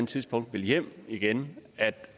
tidspunkt vil hjem igen